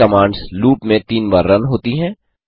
ये commands loop में 3 बार रन होती हैं